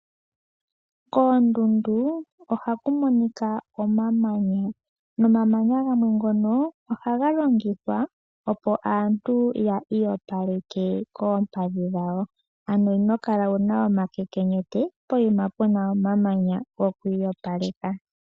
Koondundu ohaku monika omamanya, nomamanya gamwe ngono ohaga longithwa opo aantu yi iyopaleke kompadhi dhawo, ano inokala wuna omakekenyete poima puna omamanya goku iyopaleka.